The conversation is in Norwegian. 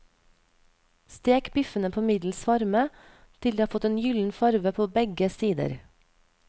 Stek biffene på middels varme, til de har fått en gylden farve på begge sider.